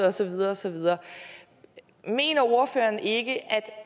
og så videre og så videre mener ordføreren ikke at